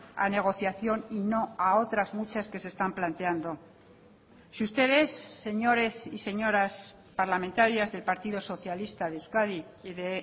a negociación y no a otras muchas que se están planteando si ustedes señores y señoras parlamentarias del partido socialista de euskadi y de